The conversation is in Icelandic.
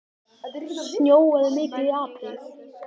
Snjóaði mikið í apríl?